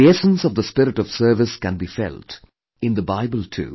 The essence of the spirit of service can be felt in the Bible too